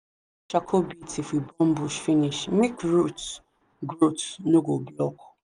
charcoal bits if we burn bush finish make root growth no go block.